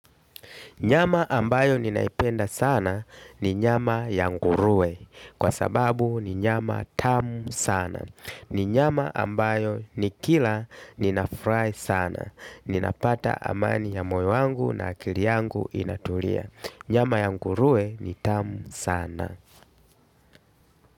Nyama ambayo ninaipenda sana ni nyama ya ngurue. Kwa sababu ni nyama tamu sana. Ni nyama ambayo nikila ninafurahi sana. Ninapata amani ya moyo wangu na akili yangu inatulia. Nyama ya ngurue ni tamu sana.